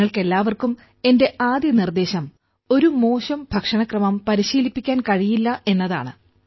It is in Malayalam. നിങ്ങൾക്കെല്ലാവർക്കും എന്റെ ആദ്യ നിർദ്ദേശം ഒരു മോശം ഭക്ഷണക്രമത്തെ പരിശീലിപ്പിക്കാൻ കഴിയില്ല എന്നതാണ്